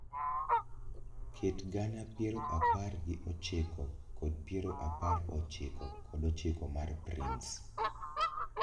Ket gana piero apar gi ochiko kod piero apar ochiko kod ochiko mar prince